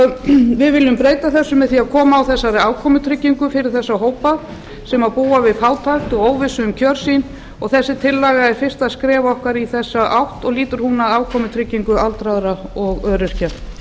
við viljum breyta þessu með því að koma á afkomutryggingu fyrir þá hópa sem búa við fátækt og óvissu um kjör sín og þessi tillaga er fyrsta skref okkar í þessa átt og lýtur hún að afkomutryggingu aldraðra og öryrkja